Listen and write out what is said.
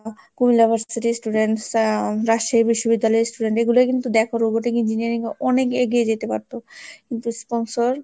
students রা রাজশাহী বিশ্ববিদ্যালয়ের student এগুলোই কিন্তু দেখো robotic engineering অনেক এগিয়ে যেতে পারতো কিন্তু sponsor